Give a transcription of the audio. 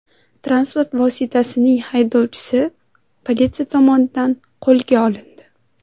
Transport vositasining haydovchisi politsiya tomonidan qo‘lga olindi.